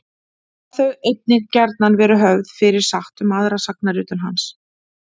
Hafa þau einnig gjarnan verið höfð fyrir satt um aðra sagnaritun hans.